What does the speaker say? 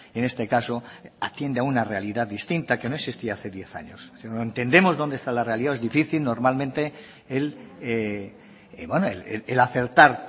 en este caso atiende a una realidad distinta que no existía hace diez años entendemos donde está la realidad es difícil normalmente el acertar